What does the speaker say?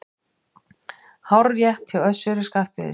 Hárrétt hjá Össuri Skarphéðinssyni!